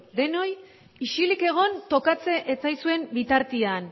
denoi isilik egotea tokatzen ez zaizuen bitartean